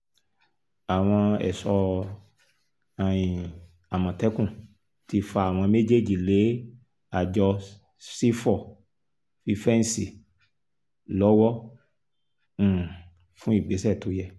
àwọn ẹ̀ṣọ́ um àmọ̀tẹ́kùn ti fa àwọn méjèèjì lé àjọ sífọ́ fífẹ́ǹsì lọ́wọ́ um fún ìgbésẹ̀ tó yẹ